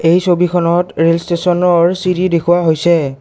এই ছবিখনত ৰেল ষ্টেচনৰ চিৰি দেখুওৱা হৈছে।